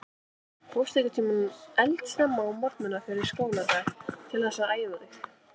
Fórstu einhvern tímann eldsnemma á morgnana fyrir skóladag til þess að æfa þig?